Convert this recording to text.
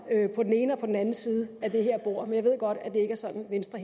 på den ene og på den anden side af det her bord men jeg ved godt at det ikke er sådan venstre